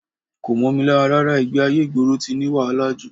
Kò mọ́ mi lára rárá, ìgbé-ayé ìgboro ti ní wàhálà jù